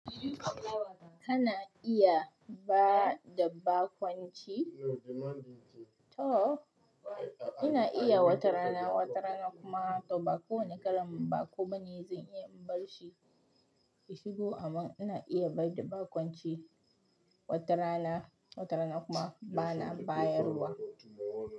Kana iya ba dabba kwanciya? To ina iya watarana, watarana kuma to ba kowane ƙaramin ba kuma ne zan iya in bar shi ya shigo amma ina iya bar da ba kwance watarana, watarana kuma bana bayarwa.